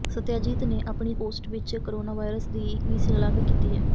ਸੱਤਿਆਜੀਤ ਨੇ ਆਪਣੀ ਪੋਸਟ ਵਿੱਚ ਕੋਰੋਨਾ ਵਾਰੀਅਰਜ਼ ਦੀ ਵੀ ਸ਼ਲਾਘਾ ਕੀਤੀ ਹੈ